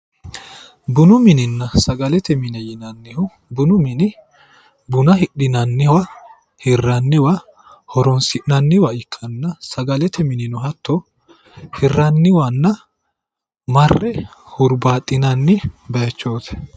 Bunu minenna sagalete mine yinannihu bunu mini buna hidhinanniwa hirranniwa Horonisi'naniwa ikkana sagalete minino hatto hirraniwanna marre huribaaxinanni bayichoot